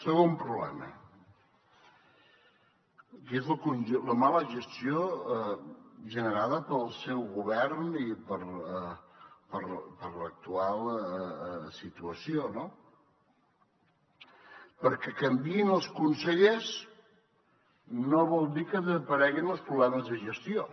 segon problema que és la mala gestió generada pel seu govern i per l’actual situació no que canviïn els consellers no vol dir que desapareguin els problemes de gestió